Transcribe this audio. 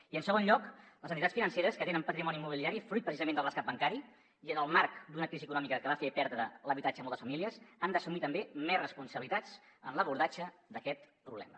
i en segon lloc les entitats financeres que tenen patrimoni immobiliari fruit precisament del rescat bancari i en el marc d’una crisi econòmica que va fer perdre l’habitatge a moltes famílies han d’assumir també més responsabilitats en l’abordatge d’aquest problema